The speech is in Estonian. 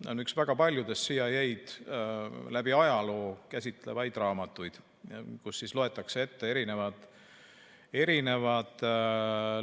See on üks väga paljudest CIA-d läbi ajaloo käsitlevatest raamatutest, kus loetakse ette erinevad